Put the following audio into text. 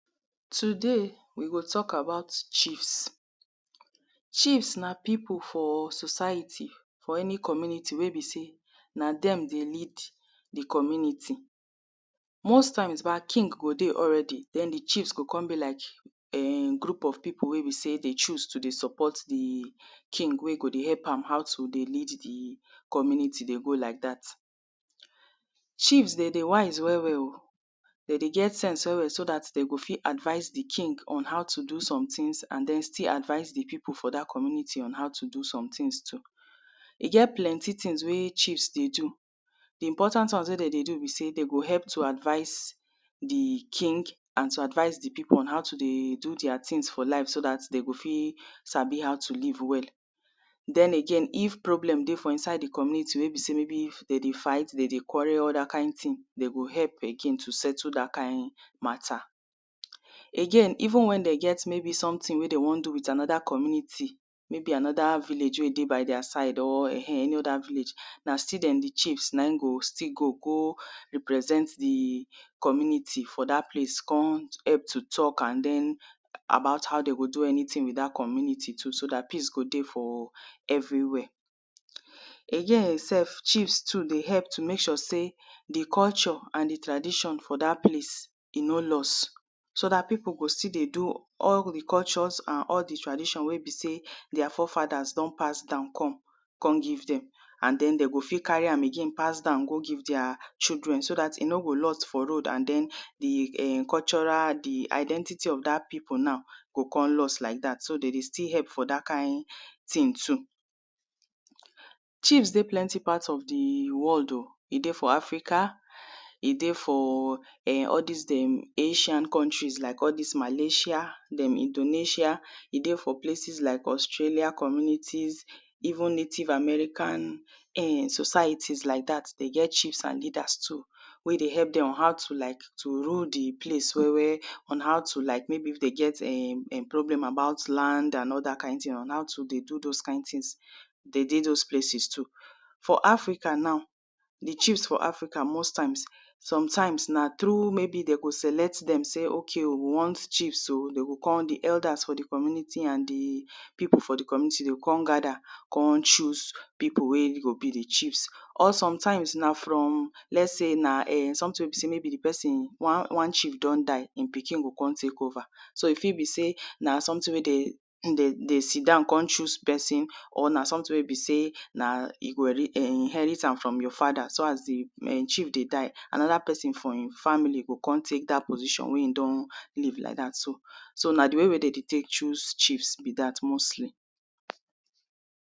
Today, we go talk about chiefs. Chiefs na pipu for society for any community wey be sey na dem dey lead di community.most times king go dey already den di chiefs go kon dey like group of pipu den choose to support di king help am out dey lead di community like dat. Chiefs den dey wise well well oh, de dey get sense well well so dat den go fit advice di king on how to do somethings and de go still advice di pipu for dat community on how to do some things too. E get plenty things wey chiefs dey do, di important ones wey den dey do be sey d go help to advice diking and to advice di pipu on how to dey do their things for life so dat den go fit sabi how to live well. Den again if problem dey for inside di community wey be sey maybe de dey fight, de dey quarrel, den go help again to settle dat kind matta. Again even wen den get something we den won do with anoda community maybe qnoda village wey e dey by their side, na still dem di chiefs na in go still go go represent di community for dat place kon help to talk about how e go do anything for dat community so dat peace go dey everywhere. A year self chiefs too dey help to mek sure sey di culture and di tradition for dat place e no lost so dat pipu go still dy do all di cultures and all di traditions wey ebsey their forefathers don pass kon give d en and de go till pass down go give their children so dat e no go loss for road so dat di identity of dat pipu now go kon loss like dat so de dey still hep for dat kind thing too. Chief dey plenty part of di world oh, e dey for Africa, e dey for all dis den asia countryies like all dis Malaysia, Indonesia ,e dey for places like austrailia communities even native American societies like dat den get chiefs and leaders too wey dey help dem on how to rule di place maybe if dem get problem like land and ther kind thing and how to dey do those things. For African now, di chiefs for African sometimes na through maybe den go select sey de want chief di elders for di community and npipu for di community de o kon gather kon choose pipu wey go be di chief. Or sometimes na from lets sey na something wey be sey maybe di pesin ones chif don die, e pikin go kon tek over so di thing be sey na something wey be sey den sitdown kon choose pesin or na something wey besey na e go inherit am from your father so as di chief dey die, anoda pesin from e family go kon tek dat position wey e don leave be dat. So na di way wey de d ey tey choose be dat mostly.